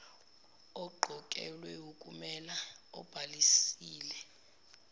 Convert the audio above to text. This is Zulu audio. oqokelwe ukumela obhalisile